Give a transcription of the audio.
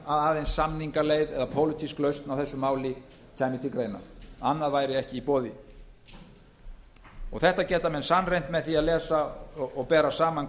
aðeins samningaleið eða pólitísk lausn á þessu máli kæmi til greina annað væri ekki í boði þetta geta menn sannreynt með því að lesa og bera saman